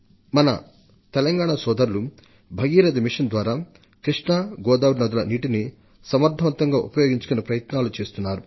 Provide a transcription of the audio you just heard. మన తెలంగాణ రైతు సోదరులు మిషన్ భగీరథ ద్వారా కృష్ణా గోదావరి నదుల నీటిని సమర్థంగా ఉపయోగించుకునే ప్రయత్నాలు చేస్తున్నారు